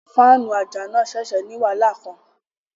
Fáànù àjà náà ṣẹ̀ṣẹ̀ ní wàhálà kan